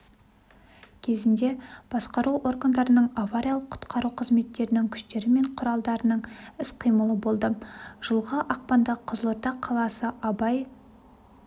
кезінде басқару органдарының авариялық-құтқару қызметтерінің күштері мен құралдарының іс-қимылы болды жылғы ақпанда қызылорда қаласы абай